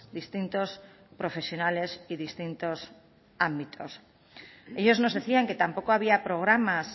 distintos profesionales y distintos ámbitos ellos nos decían que tampoco había programas